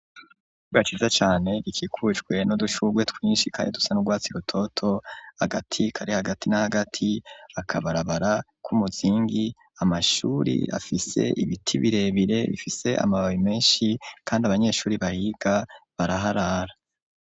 Ishure ryiza cane rikikujwe nu dushurwe twinshi kandi dusa nurwatsi rutoto hagati kare hagati n'agati akabarabara k'umuzingi amashure afise ibiti birebire bifise amababi menshi kandi abanyeshure bayiga baraharara.